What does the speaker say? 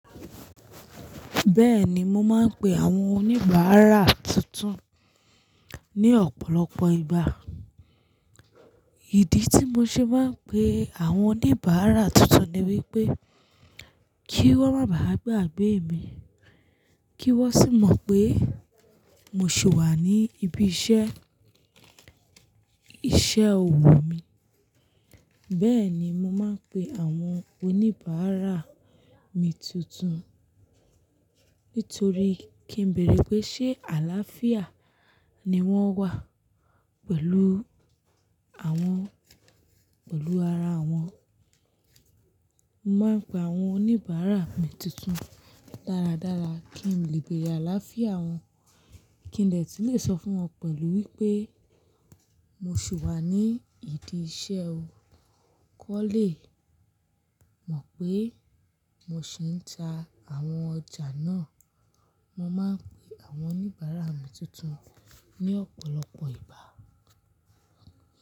Bẹ́ẹ̀ni, mo máa ń pe àwọn oníbàárà tuntun ní ọ̀pọ̀lọpọ̀ ìgbà. Ìdí tí mo ṣe bá ń pe àwọn oníbàárà tuntun ni wípé kí wón má bà á gbàgbé mi, kí wón sì mọ̀ pé mo sì wà ní ibi iṣẹ́, iṣẹ́ òwò mi. Bẹ́ẹ̀ ni mo máa ń pe àwọn oníbàárà mi tuntun nítorí kí n bẹ̀rẹ̀ pé ṣé àlááfíà ni wọ́n wà pẹ̀lú àwọn, pẹ̀lú ara wọn. Mo máa ń pe àwọn oníbàárà mi tuntun dáradára kí n lè gbé yà láàfíà wọn, kí n lè ti lè sọ fún wọn pẹ̀lú wípé mo sì wà ní ìdí iṣẹ́ o. Kọ́lé, mọ̀ pé mo sì ń ta àwọn ọjà náà. Mo máa ń pe àwọn oníbàárà mi tuntun ní ọ̀pọ̀lọpọ̀ ìgbá.